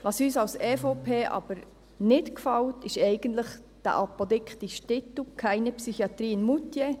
Was uns als EVP aber nicht gefällt, ist eigentlich dieser apodiktische Titel: «Keine Psychiatrie in Moutier!».